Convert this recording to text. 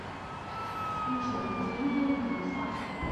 включи мне на телевизоре кино сад